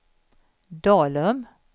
Dalum